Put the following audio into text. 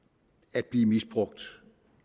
at blive misbrugt